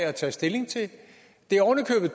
at tage stilling til det er oven i